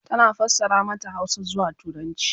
tana fassara mata Hausa zuwa turanci